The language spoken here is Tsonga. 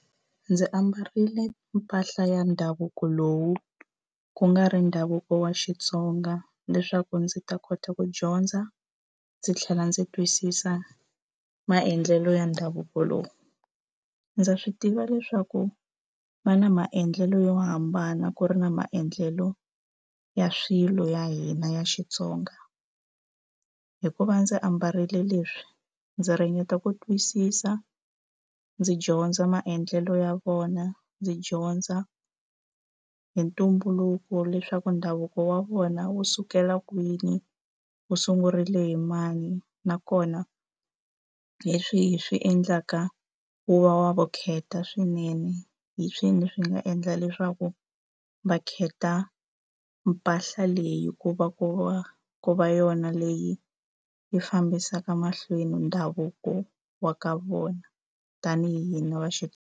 Ndzi ambarile mpahla ya ndhavuko lowu ku nga ri ndhavuko wa Xitsonga leswaku ndzi ta kota ku dyondza ndzi tlhela ndzi twisisa maendlelo ya ndhavuko lowu. Ndza swi tiva leswaku va na maendlelo yo hambana ku ri na maendlelo ya swilo ya hina ya Xitsonga. Hikuva ndzi ambarile leswi ndzi ringeta ku twisisa, ndzi dyondza maendlelo ya vona, ndzi dyondza hi ntumbuluko leswaku ndhavuko wa vona wu sukela kwini, wu sungurile hi mani. Nakona leswi hi swi endlaka wu va wa vukheta swinene hi swi ina swi nga endla leswaku va kheta mpahla leyi ku va ku va ku va yona leyi yi fambisaka mahlweni ndhavuko wa ka vona. Tanihi hina va .